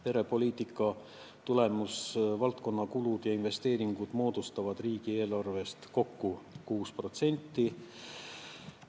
Perepoliitika tulemusvaldkonna kulud ja investeeringud moodustavad riigieelarvest kokku 6%.